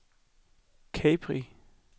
Capri